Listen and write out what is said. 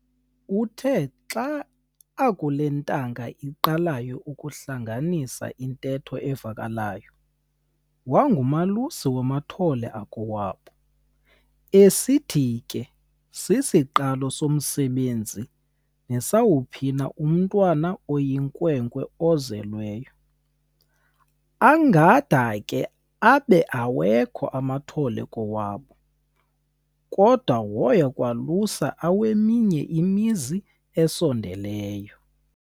Uthe xa akule ntanga iqalayo ukuhlanganisa intetho evakalayo, wangumalusi wamathole akowabo, esithi ke sisiqalo somsebenzi nesawuphina umntwana oyinkwenkwe ozelweyo. Angade abe akakho amathole kowabo, kodwa woya aluse aweminye imizi esondeleyo.